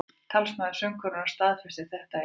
Talsmaður söngkonunnar staðfesti þetta í dag